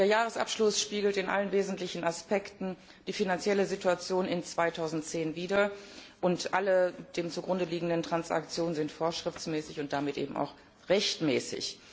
Der Jahresabschluss spiegelt in allen wesentlichen Aspekten die finanzielle Situation im Jahr 2010 wider und alle zugrunde liegenden Transaktionen sind vorschriftsmäßig und damit eben auch rechtmäßig.